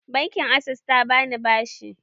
Bankin access ta bani bashi